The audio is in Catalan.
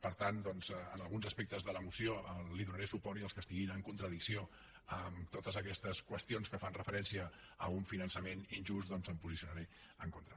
per tant doncs en alguns aspectes de la moció li donaré suport i els que estiguin en contradicció amb totes aquestes qüestions que fan referència a un finançament injust doncs m’hi posicionaré en contra